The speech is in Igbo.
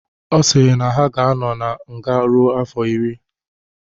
Ọ sịrị na ha ga-anọ na nga ruo afọ iri.